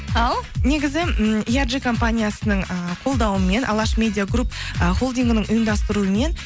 ау негізі ммм компаниясының ііі қолдауымен алаш медиагрупп і холдингінің ұйымдастыруымен